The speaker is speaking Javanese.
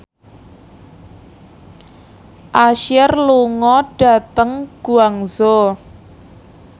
Usher lunga dhateng Guangzhou